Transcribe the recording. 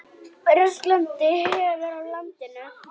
Versnandi veður á landinu